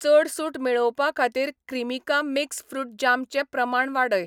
चड सूट मेळोवपाखातीर क्रीमिका मिक्स फ्रूट जाम चें प्रमाण वाडय.